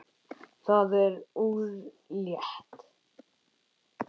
Það er úrelt.